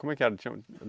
Como é que era? Tinha